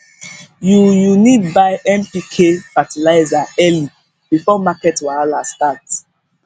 you you need buy npk fertilizer early before market wahala start